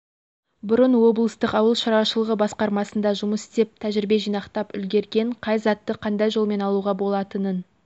бұрын облыстық ауыл шаруашылығы басқармасында жұмыс істеп тәжірибе жинақтап үлгірген қай затты қандай жолмен алуға болатынын